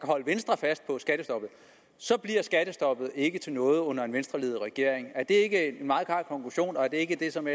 holde venstre fast på skattestoppet så bliver skattestoppet ikke til noget under en venstreledet regering er det ikke en meget klar konklusion og er det ikke det som